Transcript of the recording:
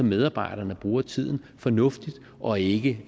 medarbejderne bruger tiden fornuftigt og ikke